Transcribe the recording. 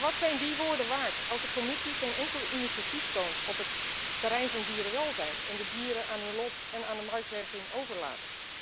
Maar wat zijn die woorden waard als de Commissie geen enkel initiatief toont op het terrein van dierenwelzijn en de dieren aan hun lot en aan de marktwerking overlaat?